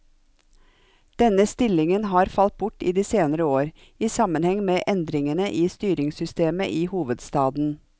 Denne stillingen har falt bort i de senere år, i sammenheng med endringene i styringssystemet i hovedstaden.